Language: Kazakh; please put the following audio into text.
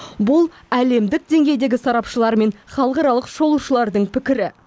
бұл әлемдік деңгейдегі сарапшылар мен халықаралық шолушылардың пікірі